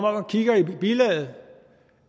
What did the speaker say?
om og kigger i bilaget